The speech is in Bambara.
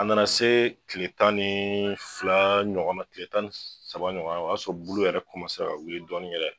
A nana se tile tan ni fila ɲɔgɔnna tile tan saba ɲɔgɔnna o y'a sɔrɔ bulu yɛrɛ ka wili dɔɔni yɛrɛ